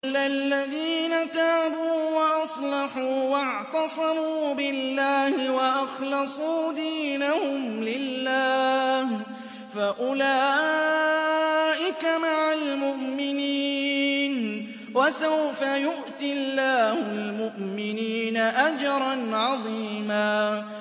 إِلَّا الَّذِينَ تَابُوا وَأَصْلَحُوا وَاعْتَصَمُوا بِاللَّهِ وَأَخْلَصُوا دِينَهُمْ لِلَّهِ فَأُولَٰئِكَ مَعَ الْمُؤْمِنِينَ ۖ وَسَوْفَ يُؤْتِ اللَّهُ الْمُؤْمِنِينَ أَجْرًا عَظِيمًا